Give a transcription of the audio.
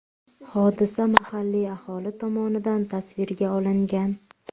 Hodisa mahalliy aholi tomonidan tasvirga olingan.